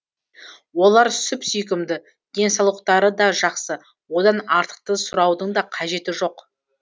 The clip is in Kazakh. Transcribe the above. олар сүп сүйкімді денсаулықтары да жақсы одан артықты сұраудың да қажеті жоқ